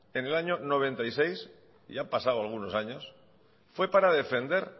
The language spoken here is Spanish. en el año mil novecientos noventa y seis ya han pasado algunos años fue para defender